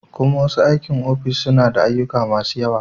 kuman masu aikin ofis suna da ayyuka masu yawa.